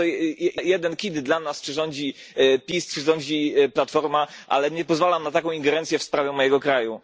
Uważam, że to jeden kit dla nas, czy rządzi PiS, czy rządzi Platforma, ale nie pozwalam na taką ingerencję w sprawy mojego kraju.